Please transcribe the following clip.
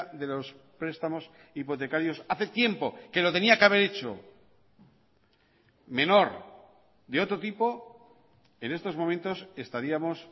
de los prestamos hipotecarios hace tiempo que lo tenía que haber hecho menor de otro tipo en estos momentos estaríamos